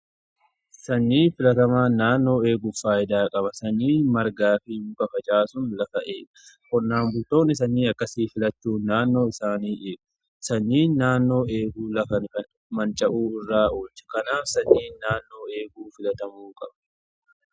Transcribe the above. Sanyii filatamaa naannoo eeguu faayidaa qaba. Sanyii margaa fi facaasun lafaa ga'ee qonnaan bultoonni sanyii akkasii filachuu naannoo isaanii eegu. Sanyii naannoo eeguu lafa manca'uu irraa oolcha. Kanaaf sanyii naannoo eeguu filatamuu qaba.